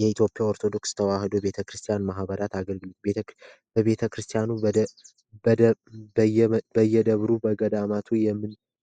የኢትዮጵያ ኦርቶዶክስ ተዋህዶ ቤተክርስቲያን ማህበራት አገልግሎት በየደብሩ በየገማቱ